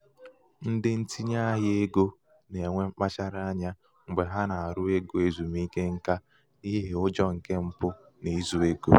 ndị ntinye ahịa ego na-enwe mkpachara anya mgbe ha na- arụ ego ezumike nká n'ihi ụjọ nke mpụ na izu ego.